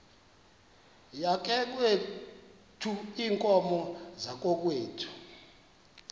yakokwethu iinkomo zakokwethu